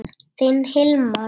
Þinn Hilmar.